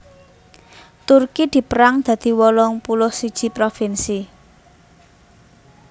Turki dipérang dadi wolung puluh siji provinsi